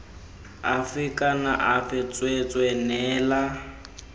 afe kana afe tsweetswee neela